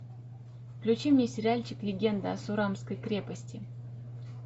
включи мне сериальчик легенда о сурамской крепости